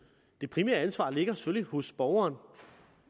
det primære ansvar ligger selvfølgelig hos borgeren